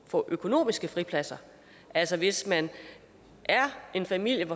få økonomiske fripladser altså hvis man er en familie